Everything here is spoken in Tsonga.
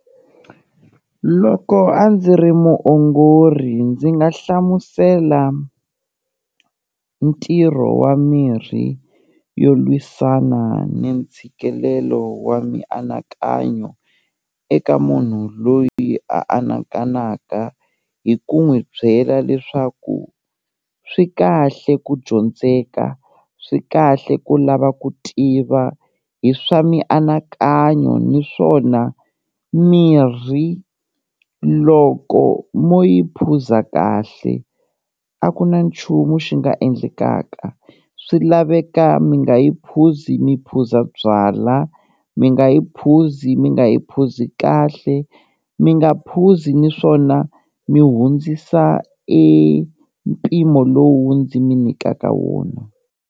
Loko a ndzi ri muongori ndzi nga hlamusela ntirho wa mirhi yo lwisana ni ntshikelelo wa mianakanyo eka munhu loyi a anakanaka hi ku n'wi byela leswaku swi kahle ku dyondzeka swi kahle ku lava ku tiva hi swa mianakanyo, niswona mirhi loko mo yi phuza kahle, a ku na nchumu xi nga endlekaka swi laveka mi nga yi phuzi mi phuza byalwa, mi nga yi phuzi mi nga yi phuzi kahle, mi nga phuzi niswona mi hundzisa e mpimo lowu ndzi mi nikaka wona.